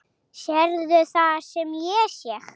Sérðu það sem ég sé?